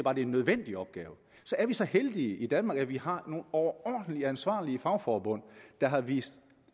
er en nødvendig opgave så er vi så heldige i danmark at vi har nogle overordentlig ansvarlige fagforbund der har vist